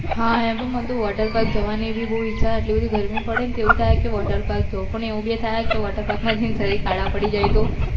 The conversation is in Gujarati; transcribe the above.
હા એમ તો મન water park જવાની બી નું ઈચ્છા છે આટલી બધી ગરમી પડે ન તો આવું થાય કે water park જાઉં પણ એવું બી થાય કે water park માં જૈન સરીર કળા પડી જાય તો